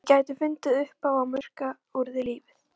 Þau gætu fundið uppá að murka úr þér lífið.